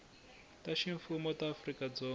ta ximfumo ta afrika dzonga